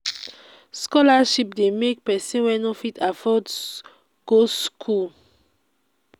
scholarship de make persin wey no fit afford school go school